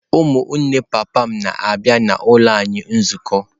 Ụmụnne papa m na-abịa n’ụlọ anyị nzukọ.